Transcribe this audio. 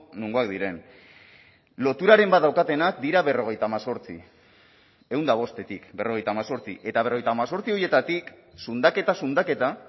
nongoak diren loturaren bat daukatenak dira berrogeita hemezortzi ehun eta bostetik berrogeita hemezortzi eta berrogeita hemezortzi horietatik zundaketa zundaketa